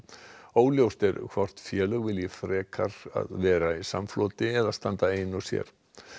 óljóst er hvort félög velja frekar að vera í samfloti eða standa ein og sér